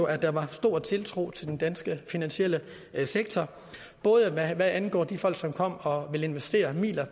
at der var stor tiltro til den danske finansielle sektor både hvad angår de folk som kom og ville investere midler